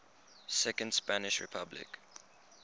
second spanish republic